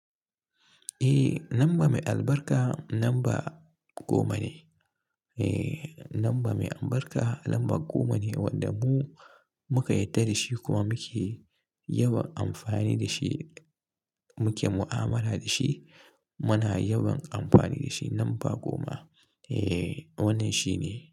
Eh, lamba mai albarka lamba goma ne. Eh, lamba mai albarka lamba goma ne wanda mu muka yadda dashi kuma muke yawan amfani da shi. Muke mu'amala da shi. Muna yawan amfani da shi lamba goma. Eh, wannan shi ne.